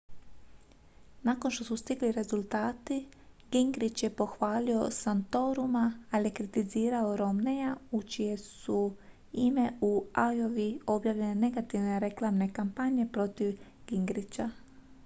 nakon što su stigli rezultati gingrich je pohvalio santoruma ali je kritizirao romneyja u čije su ime u iowi objavljene negativne reklamne kampanje protiv gingricha